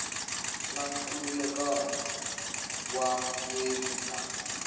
na nkhulukelano wa vundzeni na